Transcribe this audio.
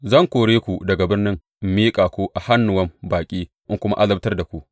Zan kore ku daga birnin in miƙa ku a hannuwan baƙi in kuma azabtar da ku.